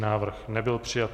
Návrh nebyl přijat.